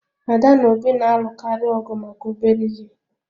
Ada na Obi na-alụkarị ọgụ maka obere ihe